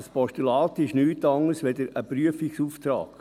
– Ein Postulat ist nichts anderes als ein Prüfungsauftrag.